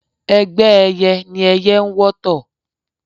Ẹgbẹ́ ẹyẹ ní ẹyẹ ń wọ́tọ̀